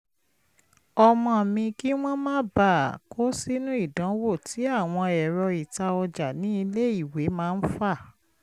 ọmọ mi kí wọ́n má bàa kó sínú ìdanwo tí àwọn ẹ̀rọ ìta ọjà ní iléèwé máa ń fà